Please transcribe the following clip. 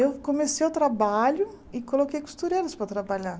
Eu comecei o trabalho e coloquei costureiras para trabalhar.